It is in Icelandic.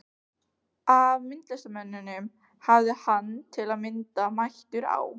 Af myndlistarmönnum hafði hann, til að mynda, mætur á